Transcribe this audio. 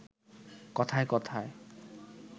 কথায় কথায়